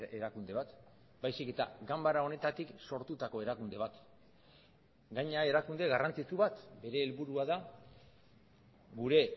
erakunde bat baizik eta ganbara honetatik sortutako erakunde bat gainera erakunde garrantzitsu bat bere helburua da gure